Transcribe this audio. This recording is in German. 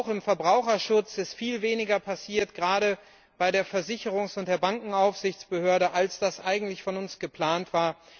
Auch im Verbraucherschutz ist viel weniger passiert, gerade bei der Versicherungs und der Bankenaufsichtsbehörde, als das eigentlich von uns geplant war.